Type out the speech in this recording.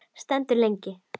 Stendur lengi.